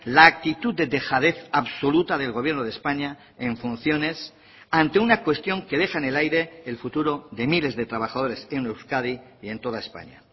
la actitud de dejadez absoluta del gobierno de españa en funciones ante una cuestión que deja en el aire el futuro de miles de trabajadores en euskadi y en toda españa